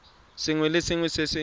sengwe le sengwe se se